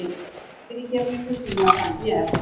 En fyrirgefningu þína þarf ég.